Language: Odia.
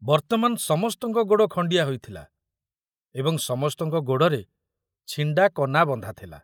ବର୍ତ୍ତମାନ ସମସ୍ତଙ୍କ ଗୋଡ଼ ଖଣ୍ଡିଆ ହୋଇଥିଲା ଏବଂ ସମସ୍ତଙ୍କ ଗୋଡ଼ରେ ଛିଣ୍ଡା କନା ବନ୍ଧା ଥିଲା।